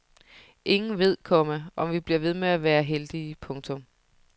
Ingen ved, komma om vi bliver ved med at være heldige. punktum